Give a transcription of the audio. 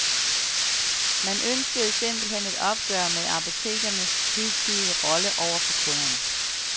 Man ønskede simpelt hen et opgør med apotekernes hidtidige rolle over for kunderne.